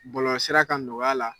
Bolɔlɔsira kan nɔgɔya la